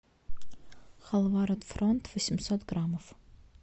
халва рот фронт восемьсот граммов